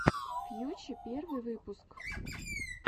фьюче первый выпуск